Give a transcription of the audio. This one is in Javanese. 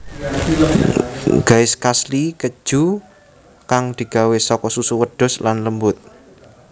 Gaiskasli Keju kang digawé saka susu wedhus lan lembut